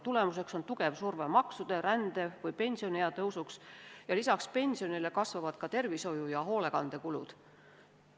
Tulemuseks on tugev surve maksude ja rände suurenemiseks või pensioniea tõusuks ja lisaks pensionile kasvavad ka tervishoiu- ja hoolekandekulud.